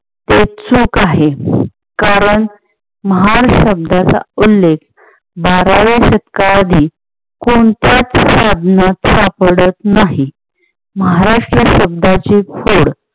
ते चूक आहे. कारण महार शब्दाचा उल्लेख बाराव्या शतका आधी कोणत्याच साधनात सापडत नाही. महाराष्ट्र शब्दाची खोड